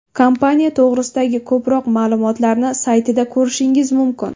Kompaniya to‘g‘risidagi ko‘proq ma’lumotlarni saytida ko‘rishingiz mumkin!